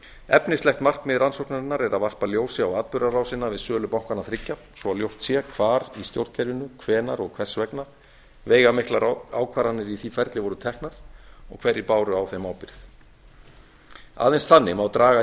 efnislegt markmið rannsóknarinnar er að varpa ljósi á atburðarásina við sölu bankanna þriggja svo ljóst sé hvar í stjórnkerfinu hvenær og hvers vegna veigamiklar ákvarðanir í því ferli voru teknar og hverjir báru á þeim ábyrgð aðeins þannig má draga